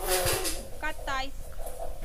катайск